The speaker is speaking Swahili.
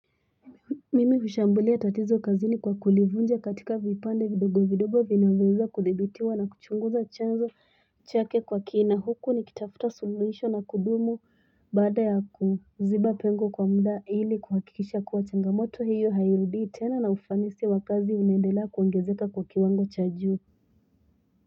Mimi hushambulia tatizo kazini kwa kulivunja katika vipande vidogo vidogo vinavyoweza kudhibitiwa na kuchunguza chanzo chake kwa kina huku, nikitafuta suluhisho la kudumu baada ya kuziba pengo kwa muda ili kuhakikisha kuwa changamoto hiyo hairudii tena na ufanisi wa kazi unaendela kuongezeka kwa kiwango cha juu.